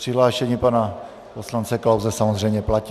Přihlášení pana poslance Klause samozřejmě platí.